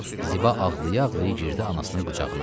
Ziba ağlaya-ağlaya girdi anasının qucağına.